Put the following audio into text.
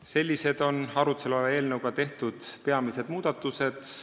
Sellised on arutluse all oleva eelnõuga tehtavad peamised muudatused.